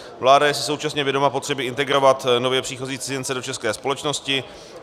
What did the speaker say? Vláda si je současně vědoma potřeby integrovat nově příchozí cizince do české společnosti.